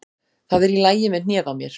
Það er í lagi með hnéð á mér.